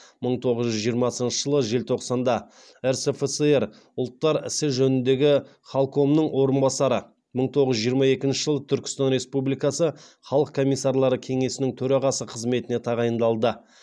мың тоғыз жүз жиырмасыншы жылы желтоқсанда рсфср ұлттар ісі жөніндегі халкомының орынбасары мың тоғыз жүз жиырма екінші жылы түркістан республикасы халық комиссарлары кеңесінің төрағасы қызметіне тағайындалды